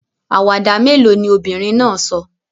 Àwàdà mélòó ni obìnrin náà sọ?